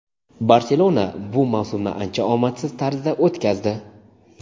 "Barselona" bu mavsumni ancha omadsiz tarzda o‘tkazdi.